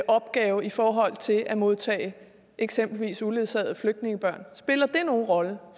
opgave i forhold til at modtage eksempelvis uledsagede flygtningebørn spiller det nogen rolle